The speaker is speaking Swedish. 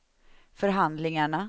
förhandlingarna